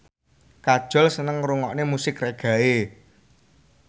Kajol seneng ngrungokne musik reggae